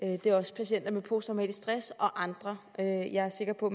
og det er også patienter med posttraumatisk stress og andre jeg er sikker på